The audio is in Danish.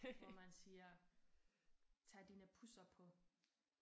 Hvor man siger tag dine pusser på